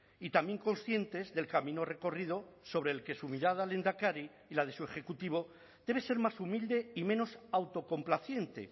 y también conscientes del camino recorrido sobre el que su mirada lehendakari y la de su ejecutivo debe ser más humilde y menos autocomplaciente